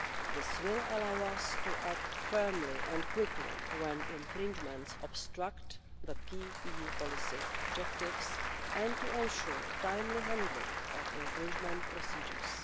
This will allow us to act firmly and quickly when infringements obstruct the key EU policy objectives and to ensure timely handling of infringement procedures.